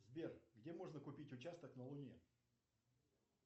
сбер где можно купить участок на луне